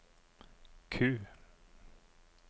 Q